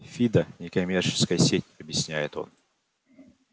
фидо некоммерческая сеть объясняет он